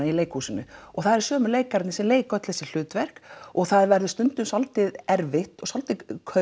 í leikhúsinu og það eru sömu leikararnir sem leika öll þessi hlutverk og það verður stundum svolítið erfitt og svolítið